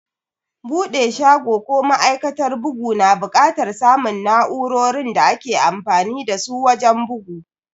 Bude shago ko ma'aikatar bugu na bukatar samun na'urorin da ake amfani dasu wajen bugu.